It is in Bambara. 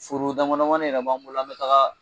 Foro dama damani yɛrɛ b'an bolo an be taga